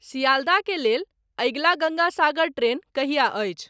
सियाल्दा के लेल अगिला गंगा सागर ट्रेन कहिया अछि